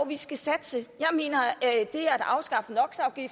vi skal satse jeg mener at det at afskaffe no